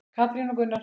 Katrín og Gunnar.